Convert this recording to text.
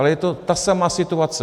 Ale je to ta samá situace.